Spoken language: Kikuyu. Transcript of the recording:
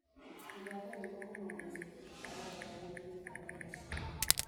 gũthaka rwĩmbo kũma mũtarataraĩnĩ wa guthaka